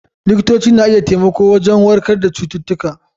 Likitoci na iya taimako wajen warkar da cututtuka.